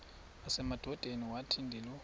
nasemadodeni wathi ndilu